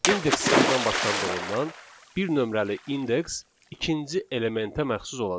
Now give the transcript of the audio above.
İndeks sıfırdan başlandığından bir nömrəli indeks ikinci elementə məxsus olacaq.